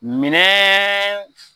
Minɛn